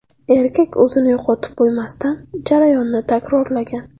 Erkak o‘zini yo‘qotib qo‘ymasdan, jarayonni takrorlagan.